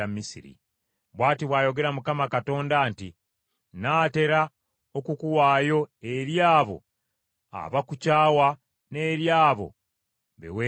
“Bw’ati bw’ayogera Mukama Katonda nti, Nnaatera okukuwaayo eri abo abakukyawa n’eri abo be weetamwa.